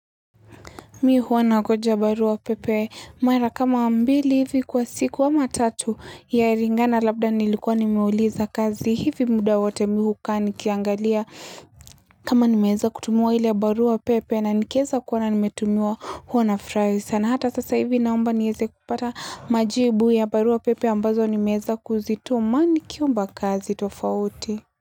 Mimi huwa nangoja barua pepe mara kama mbili hivi kwa siku ama tatu yalingana labda nilikuwa nimeuliza kazi hivi muda wote mimi hukaa nikiangalia kama nimeweza kutumiwa ile barua pepe na nikiweza kuona nimetumiwa huwa nafurahi sana. Hata sasa hivi naomba niweze kupata majibu ya barua pepe ambazo nimeweza kuzituma nikiomba kazi tofauti.